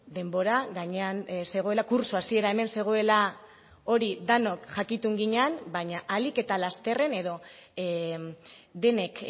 denbora gainean zegoela kurtso hasiera hemen zegoela hori denok jakitun ginen baina ahalik eta lasterren edo denek